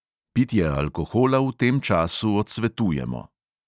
Pitje alkohola v tem času odsvetujemo!